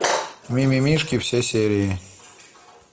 мимимишки все серии